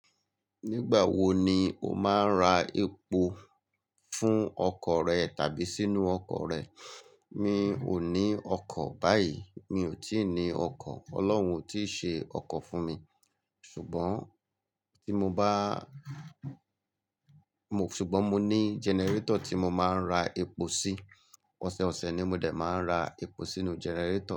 Nígbà wo ni o máa ń ra epo fún ọkọ̀ rẹ tàbí sínú ọkọ̀ rẹ? Mi ò ní ọkọ̀ báyìí. Mi ò tí ì ní ọkọ̀. Ọlọ́hun ò tí ì ṣe ọkọ̀ fún mi. Ṣùgbọ́n tí mo bá-- ṣùgbọ́n mo ní generator tí mo máa ń ra epo sí. Ọ̀sẹ̀ ọ̀sẹ̀ ni mo dè máa ń ra epo sínúu generator.